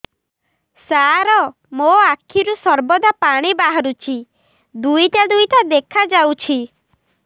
ସାର ମୋ ଆଖିରୁ ସର୍ବଦା ପାଣି ବାହାରୁଛି ଦୁଇଟା ଦୁଇଟା ଦେଖାଯାଉଛି